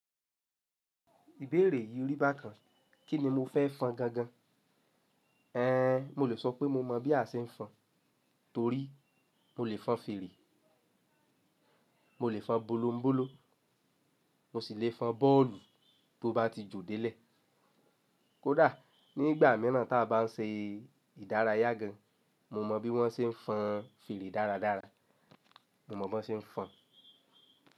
Ìbéèrè yìí rí bá kan, kíni mo fẹ́ fọn gangan? Mo lè sọ pé mo mọ̀ bí a se n fọn, torí mo lè fọn fèrè, mo lè fọn bolombolo, mo sì lè fọn bọ́ọ̀lù bó bá ti jó dé lè. Kódà nígbà míràn ta bá n ṣe ìdárayá gan, mo mọ bí wọ́n se n fọn fèrè dáradára. Mo mọ̀ bó se n fọn.